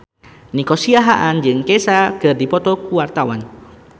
Nico Siahaan jeung Kesha keur dipoto ku wartawan